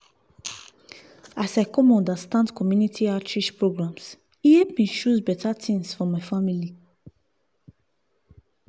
as i come understand community outreach programs e help me choose better things for my family.